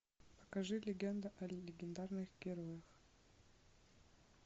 покажи легенда о легендарных героях